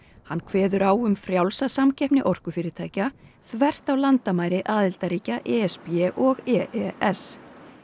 hann kveður á um frjálsa samkeppni orkufyrirtækja þvert á landamæri aðildarríkja e s b og e s